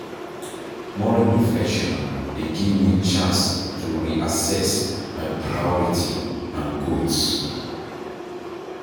Morning reflection dey give me chance to reassess my priorities and goals.